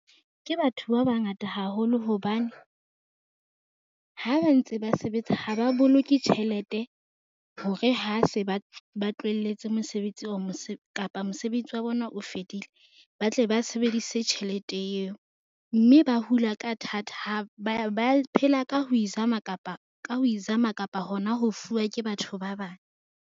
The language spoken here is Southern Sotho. Ke batho ba bangata haholo. Hobane ha ba ntse ba sebetsa ho ba boloke tjhelete hore ha se ba tlohelletse mosebetsi oo kapa mosebetsing wa bona o fedile, ba tle ba sebedise tjhelete eo mme ba hula ka thata. Ba phela ka ho izama kapa hona ho fuwa ke batho ba bang.